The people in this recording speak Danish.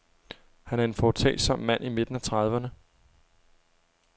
Han er en foretagsom mand i midten af trediverne.